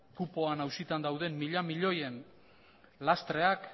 kupoan auzitan dauden mila milioiren lastreak